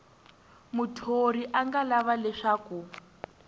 muthori a nga lava leswaku